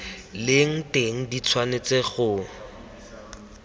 leng teng di tshwanetse go